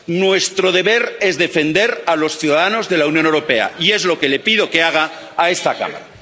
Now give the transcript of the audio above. Nuestro deber es defender a los ciudadanos de la Unión Europea, y es lo que le pido que haga a esta Cámara.